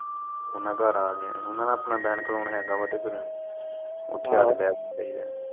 ਓਨਾ ਘਰ ਆਗਿਆ ਹੀ, ਓਨਾ ਦਾ ਆਪਣਾ ਹੈਗਾ ਵਾ ਤੇ ਫਿਰ ਓਥੇ ਈ ਆਕੇ ਬੈ ਬੂ ਜਾਈਦਾ